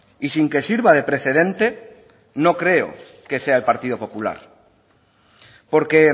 y sin que sirva de precedente no creo que sea el partido popular porque